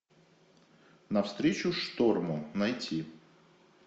навстречу шторму найти